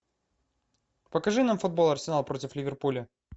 покажи нам футбол арсенал против ливерпуля